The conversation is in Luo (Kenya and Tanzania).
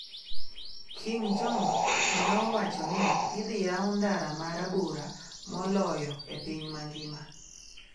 Kim Jong neowacho ni idhi yaw ndara ma rabora moloyo e piny mangima